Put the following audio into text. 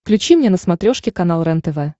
включи мне на смотрешке канал рентв